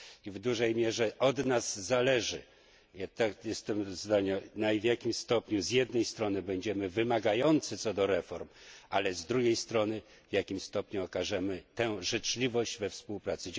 W dużej mierze od nas zależy, w jakim stopniu, z jednej strony, będziemy wymagający co do reform, ale z drugiej strony, w jakim stopniu okażemy tę życzliwość we współpracy.